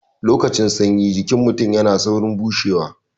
Lokacin sanyi jikin mutun yana saurin bushewa